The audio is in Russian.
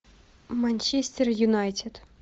манчестер юнайтед